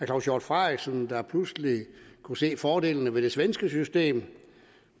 claus hjort frederiksen der pludselig kunne se fordelene ved det svenske system